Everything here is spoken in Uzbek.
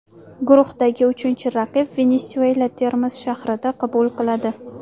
Guruhdagi uchinchi raqib Venesuela Termiz shahrida qabul qiladi.